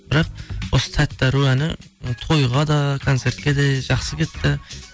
бірақ осы тәтті ару әні тойға да концертке де жақсы кетті